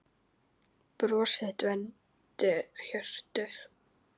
Bros þitt vermdi hjörtu.